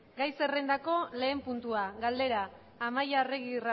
gai zerrendako lehen puntua galdera amaia arregi